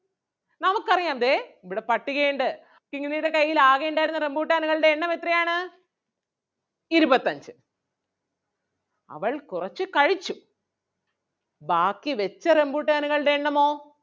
നമുക്ക് അറിയാം ദേ ഇവിടെ പട്ടിക ഒണ്ട് കിങ്ങിണിടെ കയ്യിൽ ആകെയുണ്ടായിരുന്ന റംബുട്ടാനുകളുടെ എണ്ണം എത്രയാണ് ഇരുപത്തഞ്ച്. അവൾ കൊറച്ച് കഴിച്ചു ബാക്കി വെച്ച റംബുട്ടാനുകളുടെ എണ്ണമോ?